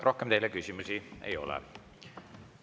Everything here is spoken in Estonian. Rohkem teile küsimusi ei ole.